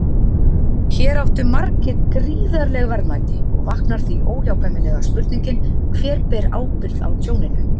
Hér áttu margir gríðarleg verðmæti og vaknar því óhjákvæmilega spurningin: Hver ber ábyrgð á tjóninu?